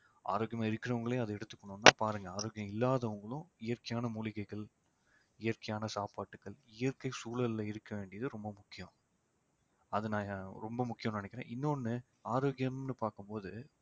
ஆரோக்கியமா இருக்கிறவங்களையும் அதை எடுத்துக்கணும் பாருங்கஆரோக்கியம் இல்லாதவங்களும் இயற்கையான மூலிகைகள் இயற்கையான சாப்பாட்டுக்கள் இயற்கை சூழல்ல இருக்க வேண்டியது ரொம்ப முக்கியம் அதை நான் ரொம்ப முக்கியம்ன்னு நினைக்கிறேன் இன்னொண்ணு ஆரோக்கியம்ன்னு பாக்கும்போது